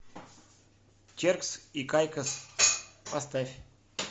теркс и кайкос поставь